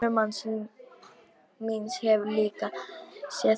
Sonur mannsins míns hefur líka séð þá.